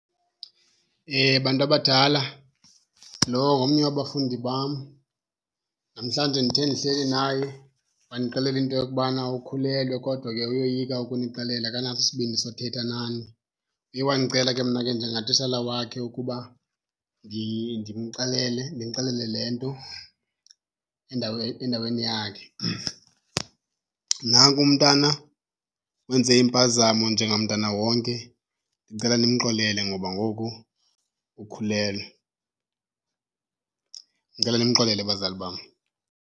Bantu abadala, lo ngomnye wabafundi bam. Namhlanje ndithe ndihleli naye wandixelela into yokubana ukhulelwe kodwa ke uyoyika ukunixelela akanaso isibindi sothetha nani. Uye wandicela ke mna ke njengatishala wakhe ukuba ndimxelele, ndinixelele le nto endaweni yakhe. Nanku umntana wenze impazamo njengamntana wonke, ndicela nimxolele ngoba ngoku ukhulelwe. Ndicela nimxolele bazali bam.